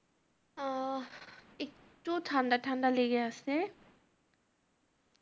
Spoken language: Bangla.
আহ একটু ঠান্ডা ঠান্ডা লেগে আছে,